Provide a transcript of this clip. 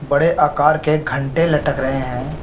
बड़े आकार के घंटे लटक रहे है।